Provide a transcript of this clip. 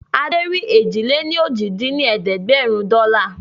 Adé rí èjì-lé-ní-ojì dín ní ẹ̀ẹ́dẹ́gbẹ́rún dọ́là